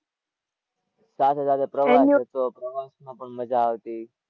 સાથે સાથે પ્રવાસ હતો, પ્રવાસ માં પણ મજા આવતી.